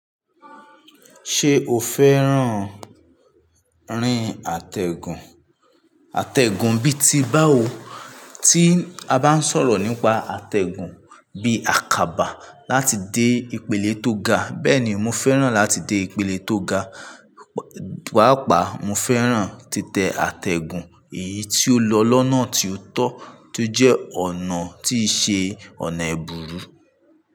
Ṣé o fẹ́ràn rin àtẹ̀gùn? Àtẹ̀gùn bí i tí báwo, tí a bá ń sọ̀rọ̀ nípa àtẹ̀gùn bí i àkàbà láti dé ìpele tó ga. Bẹ́ẹ̀ni, mo fẹ́ràn láti dé ìpele tó ga, pàápàá mo fẹ́ràn títẹ àtẹ̀gùn, èyí tí ó lọ lọ́nà tí ó tọ́ tó jẹ́ ọ̀nà tí í ṣe ọ̀nà ìbùrú.